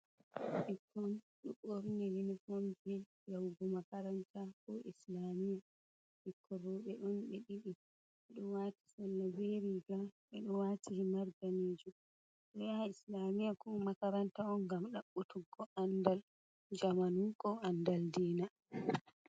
Ɓe ɗo ɓorni unifon ɓe ɗo yaawa yahug ma karanta koo islamiya. Bikkon rooɓe on ɓe ɗiɗi ɓe ɗo waati sarla bee riiga, ɓe ɗo waati himarji ɓe ɗo yaha islamiya koo makaranta on ngam daɓɓutugo andal jamanu koo andal diina.